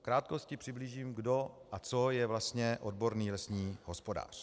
V krátkosti přiblížím, kdo a co je vlastně odborný lesní hospodář.